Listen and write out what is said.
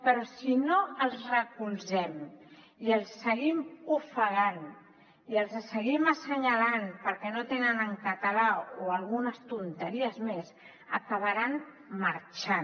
però si no els recolzem i els seguim ofegant i els seguim assenyalant perquè no ho tenen en català o algunes tonteries més acabaran marxant